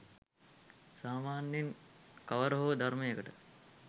සාමාන්‍යයෙන් කවර හෝ ධර්මයකට